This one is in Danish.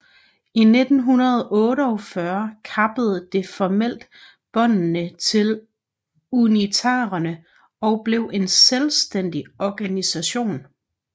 I 1948 kappede det formelt båndene til unitarerne og blev en selvstændig organisation